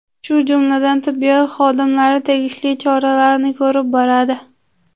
Shu jumladan tibbiyot xodimlari tegishli choralarni ko‘rib boradi.